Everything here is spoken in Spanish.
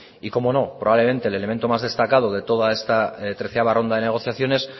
y como no probablemente el elemento más destacado de toda esta treceava ronda de negociaciones